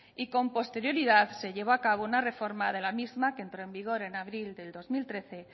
y con posterioridad se llevó a cabo una reforma de la misma que entró en vigor en abril de dos mil trece